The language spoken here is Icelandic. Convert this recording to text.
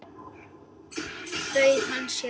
Bauð hann þér?